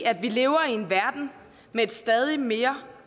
vi lever i en verden med et stadig mere